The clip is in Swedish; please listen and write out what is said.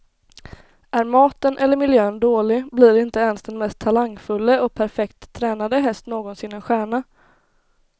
Är maten eller miljön dålig, blir inte ens den mest talangfulle och perfekt tränade häst någonsin en stjärna.